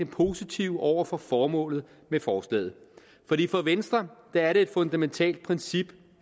positive over for formålet med forslaget fordi for venstre er det et fundamentalt princip